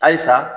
Ayi sa